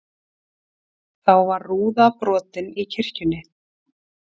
Þá var rúða brotin í kirkjunni